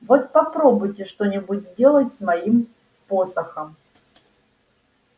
вот попробуйте что-нибудь сделать с моим посохом